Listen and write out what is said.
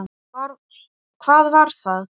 Hvað var það?